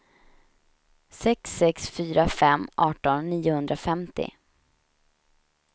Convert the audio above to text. sex sex fyra fem arton niohundrafemtio